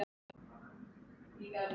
Og sans fyrir mat.